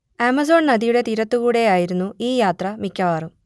Amazon നദിയുടെ തീരത്തുകൂടെ ആയിരുന്നു ഈ യാത്ര മിക്കവാറും